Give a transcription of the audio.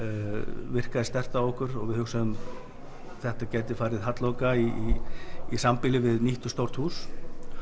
virkaði sterkt á okkur við hugsuðum þetta gæti farið halloka í í sambýli við nýtt og stórt hús